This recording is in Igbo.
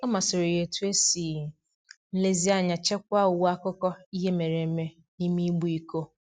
Ọ masịrị ya etu e si nlezianya chekwaa uwe akụkọ ihe mere eme n'ime igbe iko.